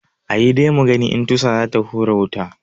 Ayi dai mugani in tusa zai hura wuta.